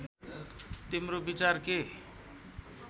तिम्रो विचार के